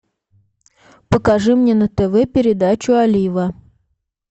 покажи мне на тв передачу олива